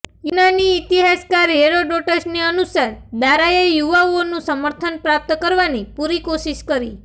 યૂનાની ઇતિહાસકાર હેરોડોટસની અનુસાર દારાએ યુવાઓનું સમર્થન પ્રાપ્ત કરવાની પૂરી કોશિશ કરી